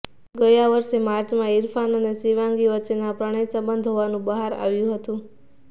ગયા વર્ષે માર્ચમાં ઇરફાન અને શિવાંગી વચ્ચેના પ્રણયસંબંધ હોવાનું બહાર આવ્યું હતું